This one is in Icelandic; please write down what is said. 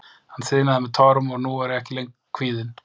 Hann þiðnaði með tárum og nú er ég ekki lengur kvíðinn.